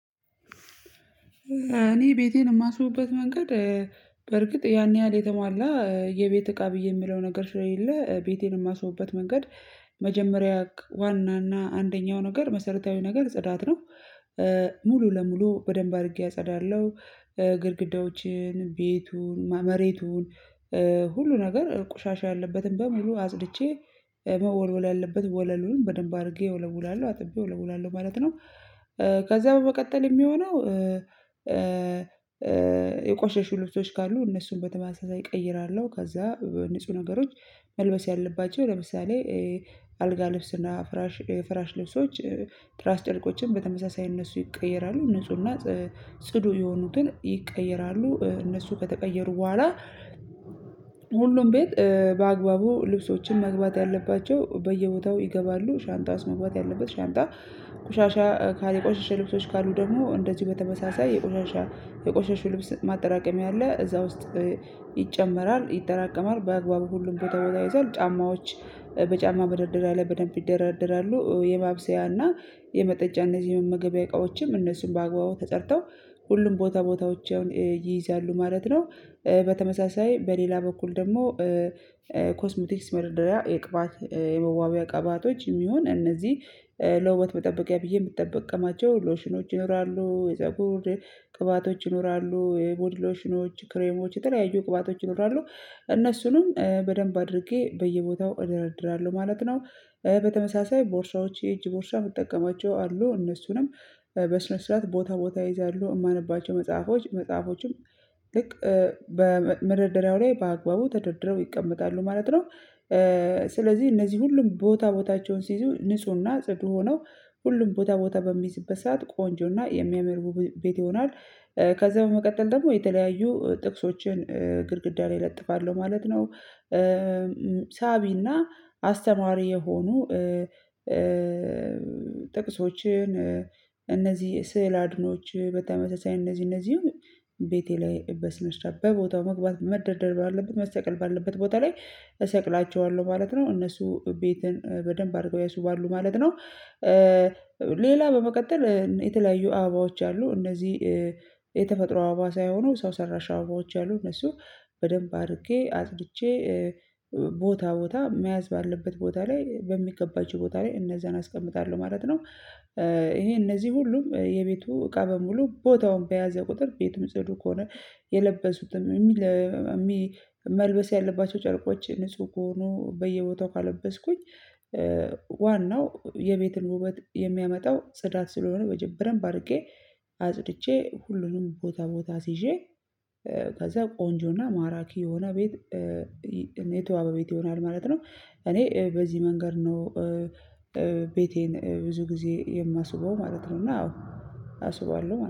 እኔ ቤቴን የማስውብበት መንገድ በርግጥ ያን ያህል የተሟላ የቤት እቃ ብዬ የምለው ነገር ስለሌለ ቤቴን የማስውብበት መንገድ። መጀመሪያ ክዋና እና አንደኛው ነገር መሰረታዊ ነገር ጽዳት ነው። ሙሉ ለሙሉ በደንብ አድርጌ አጸዳለሁ ግድግዳዎችን ቤቱን መሬቱን ሁሉ ነገር ቆሻሻ ያለበትን በሙሉ አጽድቼ መወልወል ያለበት ወለሉን በደንብ አድርጌ እወለውላለሁ አጥቤ እወለውላለሁ ማለት ነው። ከዛ በመቀጠል የሚሆነው የቆሸሹ ልብሶች ካሉ እነሱን በተመሳሳይ እቀይራለሁ ከዛ ንጹህ ነገሮች መልበስ ያለባቸው ለምሳሌ አልጋ ልብስና ፍራሽ ፍራሽ ልብሶች ትራስ ጨርቆችን በተመሳሳይ እነሱ ይቀየራሉ ንፁህና ጽዱ የሆኑትን ይቀየራሉ እነሱ ከተቀየሩ በኋላ ሁሉም ቤት በአግባቡ ልብሶችን መግባት ያለባቸው በየቦታው ይገባሉ ሻንጣ ውስጥ መግባት ያለበት ሻንጣ ቆሻሻ ካለ የቆሸሸ ልብሶች ካሉ ደግሞ እንደዚህ በተመሳሳይ የቆሻሻ የቆሸሽ ልብስ ማጠራቀሚያ አለ እዛ ውስጥ ይጨመራል ይጠራቀማል በአግባቡ ሁሉም ቦታ ቦታ ይይዛል ጫማዎች በጫማ በመደርደያ ላይ በደንብ ይደረደራሉ የማብሰያና የመጠጫ እና እነዚህ የመመገቢያ እቃዎችም እነሱም በአግባቡ ተጸድተው ሁሉም ቦታ ቦታዎችን ይይዛሉ ማለት ነው። በተመሳሳይ በሌላ በኩል ደግሞ ኮስምቲክስ መድርደሪያ የቅባት የመዋቢያ ቅባቶች ይሁን እነዚህ ለውበት መጠበቂያ ብዬ የምጠበቅ ቅማቸው ሎሽኖች ይኖራሉ የፀጉር ቅባቶች ይኖራሉ የቦዲሎሽኖች ክሬሞች የተለያዩ ቅባቶች ይኖራሉ እነሱንም በደንብ አድርጌ በየቦታው እደራድራለሁ ማለት ነው። በተመሳሳይ ቦርሳዎች የእጅ ቦርሳ የምጠቀማቸው አሉ እነሱንም በስነ ስርዓት ቦታ ቦታ ይይዛሉ የማነባቸው መጽሐፎች መጽሐፎችም ልክ በመ መደርደሪያው ላይ በአግባቡ ተደርድረው ይቀመጣሉ ማለት ነው። ስለዚህ እነዚህ ሁሉም ቦታ ቦታቸውን ሲይዙ ንፁህና ጽዱ ሆነው ሁሉም ቦታ ቦታ በሚይዝበት ሰዓት ቆንጆና የሚያምር ዉብ ቤት ይሆናል ከዛ በመቀጠል ደግሞ የተለያዩ ጥቅሶችን ግድግዳ ላይ እለጥፋለሁ ማለት ነው። ሳቢና አስተማሪ የሆኑ ጥቅሶችን እነዚህ ስዕል አድኖዎች በተመሳሳይ እነዚህ እነዚህን ቤቴ ላይ በስነ ስርዓት በቦታው መግባት መደርደር ባለበት መሰቀል ባለበት ቦታ ላይ እሰቅላቸዋለሁ ማለት ነው እነሱ ቤትን በደንብ አድርገው ያስው ባሉ ማለት ነው። ሌላ በመቀጠል የተለያዩ አባባዎች አሉ እነዚህ የተፈጥሮ አበባ ሳይሆኑ ሰው ሰራሽ አበባዎች አሉ እነሱ በደንብ አርጌ አጽድቼ ቦታ ቦታ መያዝ ባለበት ቦታ ላይ በሚገባቸው ቦታ ላይ እነዛን አስቀምጣለሁ ማለት ነው። ይሄ እነዚህ ሁሉም የቤቱ እቃ በሙሉ ቦታውን በያዘ ቁጥር ቤቱም ጽዱ ከሆነ የለበሱትም የሚል የሚ መልበስ ያለባቸው ጨርቆች ንጹህ ከሆኑ በየቦታው ካለበስኩኝ ዋናው የቤትን ውበት የሚያመጣው ጽዳት ስለሆነ በጀ በደንብ አድርጌ አጽድቼ ሁሉንም ቦታ ቦታ አስይዤ ከዛ ቆንጆና ማራኪ የሆነ ቤት እና የተዋበ ቤት ይሆናል ማለት ነው። እኔ በዚህ መንገድ ነው ቤቴን ብዙ ጊዜ የማስውበው ማለት ነው እና አዎ አስውባለሁ ማለት